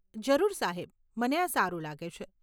જરૂર સાહેબ, મને આ સારું લાગે છે.